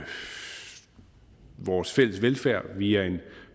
vores fælles velfærd via en